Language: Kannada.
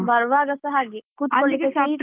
ಬರುವಾಗಸ ಹಾಗೆ. ಕುತ್ಕೊಳ್ಳಿಕೆ